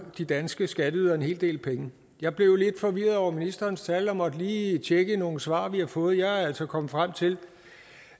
de danske skatteydere en hel del penge jeg blev lidt forvirret over ministerens tal og måtte lige tjekke nogle svar vi har fået og jeg er altså kommet frem til